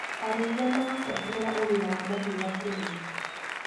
Arĩithia marabuatĩrĩra ũgima wa mahiũ hakuhĩ.